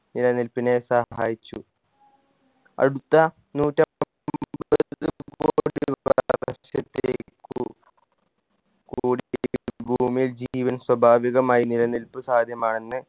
നിലനിൽപ്പിനെ സഹായിച്ചു അടുത്ത നൂറ്റ കൂടി ഭൂമിയിൽ ജീവൻ സ്വാഭാവികമായി നിലനിൽപ്പ് സാധ്യമാണെന്ന്